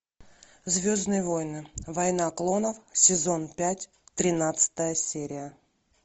звездные войны война клонов сезон пять тринадцатая серия